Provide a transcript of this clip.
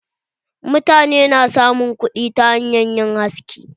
Mutane su na samun kuɗi hanyar yin haski.